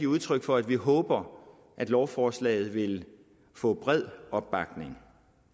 udtryk for at vi håber at lovforslaget vil få bred opbakning